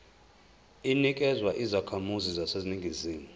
inikezwa izakhamizi zaseningizimu